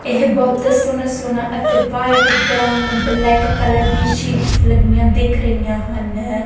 ਇਹ ਬਹੁਤ ਸੋਹਣਾ ਸੋਹਣਾ ਅਤੇ ਵਾਇਟ ਬਰਾਉਨ ਬਲੈਕ ਕਲਰ ਦੀ ਸ਼ੀਟਸ ਲੱਗੀਆਂ ਦਿੱਖ ਰਹੀਆਂ ਹਨ।